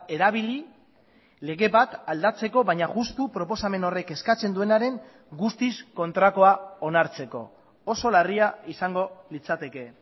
erabili lege bat aldatzeko baina justu proposamen horrek eskatzen duenaren guztiz kontrakoa onartzeko oso larria izango litzateke